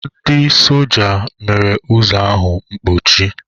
Ndị soja mere ụzọ ahụ mkpochi.